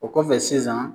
O kɔfɛ sisan